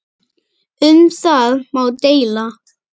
Um það má deila.